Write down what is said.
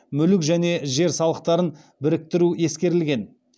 мүлік және жер салықтарын біріктіру ескерілген